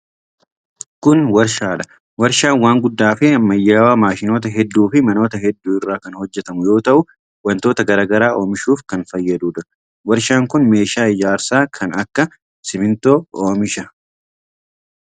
Kun warshaa dha. Warshaan waan guddaa fi ammayyawaa maashinoota hedduu fi manoota hedduu irraa kan hojjatamu yoo ta'u, wantoota garaa garaa oomishuuf kan fayyaduu dha. Warshaan kun meeshaa ijaarsaa kan akka simiintoo oomisha.